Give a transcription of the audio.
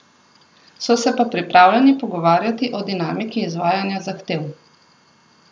So se pa pripravljeni pogovarjati o dinamiki izvajanja zahtev.